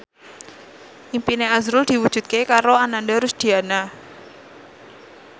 impine azrul diwujudke karo Ananda Rusdiana